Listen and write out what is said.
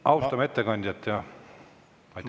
Austame ettekandjat!